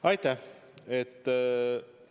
Aitäh!